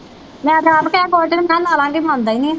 ਮੈਂ ਤਾਂ ਆਪ ਕਿਹਾ ਦੋ ਦਿਨ ਮੈਂ ਲਾ ਲਵਾਂਗੀ ਮੰਨਦਾ ਹੀ ਨੀ